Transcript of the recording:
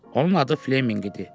Onun adı Fleminq idi.